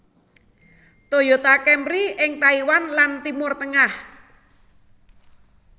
Toyota Camry ing Taiwan lan Timur Tengah